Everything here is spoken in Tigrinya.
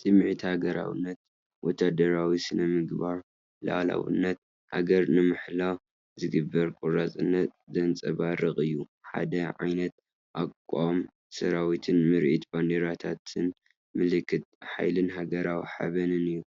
ስምዒት ሃገራውነት፣ ወተሃደራዊ ስነ-ስርዓት፣ ልኡላውነት ሃገር ንምሕላው ዝግበር ቆራጽነት ዘንጸባርቕ እዩ። ሓደ ዓይነት ኣቃውማ ሰራዊትን ምርኢት ባንዴራታቱን ምልክት ሓይልን ሃገራዊ ሓበንን እዩ።